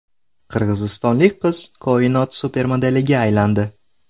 Qirg‘izistonlik qiz Koinot supermodeliga aylandi.